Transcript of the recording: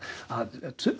að